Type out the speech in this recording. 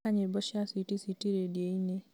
thaaka nyĩmbo cia switi switi rĩndiũ-inĩ